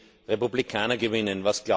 wenn die Republikaner gewinnen?